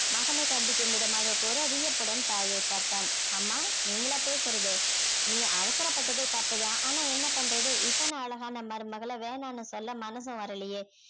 மகனை கண்டிக்கும் விதமாக கூற வியப்புடன் தாயை பார்த்தான் அம்மா நீங்களா பேசுறது நீ அவசரப்பட்டது தப்பு தான் ஆனால் என்ன பண்றது இத்தனை அழகான மருமகளை வேணாம்னு சொல்ல மனசு வரலயே